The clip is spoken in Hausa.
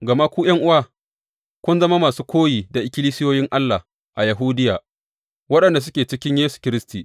Gama ku, ’yan’uwa, kun zama masu koyi da ikkilisiyoyin Allah a Yahudiya waɗanda suke cikin Kiristi Yesu.